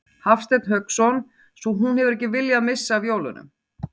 Hafsteinn Hauksson: Svo hún hefur ekki viljað missa af jólunum?